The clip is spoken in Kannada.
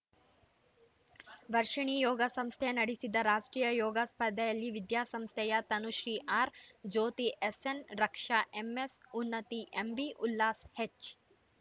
ವರ್ಷಿಣಿ ಯೋಗ ಸಂಸ್ಥೆ ನಡೆಸಿದ ರಾಷ್ಟ್ರೀಯ ಯೋಗ ಸ್ಪರ್ಧೆಯಲ್ಲಿ ವಿದ್ಯಾಸಂಸ್ಥೆಯ Tanushree R Jyothi SN Raksha MS Unnathi MB Ullas ಹೆಚ್‌